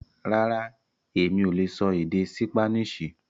Rárá, Emi o lè sọ èdè Sípáníìṣì